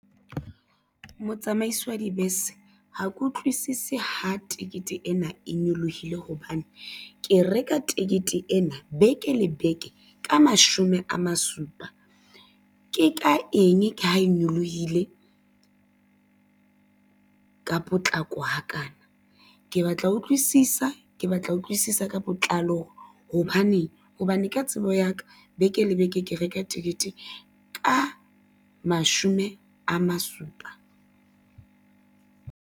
Motsamaisi wa dibese, ha ke utlwisisi ho tekete ena, e nyolohile hobane ke reka tekete ena beke le beke ka mashome a ma supa. Ke ka eng ha e nyolohile ka potlako ha kana, ke batla ho utlwisisa, ke batla ho utlwisisa ka botlalo hobaneng. Hobane ka tsebo ya ka beke le beke ke reka tekete ka mashome a ma supa.